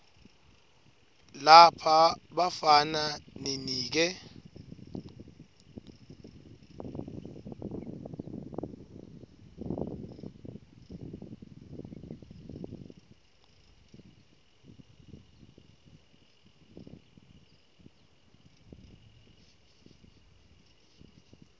lapha bafana ninike